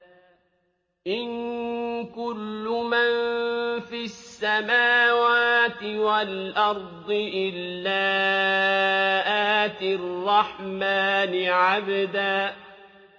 إِن كُلُّ مَن فِي السَّمَاوَاتِ وَالْأَرْضِ إِلَّا آتِي الرَّحْمَٰنِ عَبْدًا